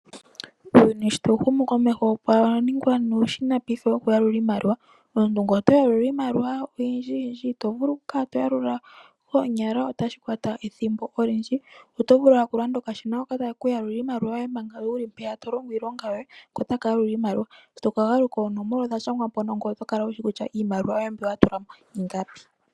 Uuyuni sho tawu humu komeho opwa ningwa nuushina paife wokuyalula iimaliwa. Omuntu ngele oto yalula iimaliwa oyindjiyindji itovulu okukala to yalula koonyala otashi kwata ethimbo olindji, oto vulu owala okulanda okashina hoka takekuyalulile iimaliwa yoye manga wuli mpeyaka to longo iilonga yoye ko otaka yalula iimaliwa shi tokagaluka oonomola odha shangwa ngoye oto kala wushi kutya iimaliwa yoye mbi watula mo ingapi.